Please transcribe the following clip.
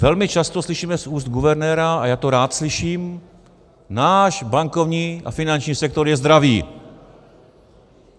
Velmi často slyšíme z úst guvernéra, a já to rád slyším, náš bankovní a finanční sektor je zdravý.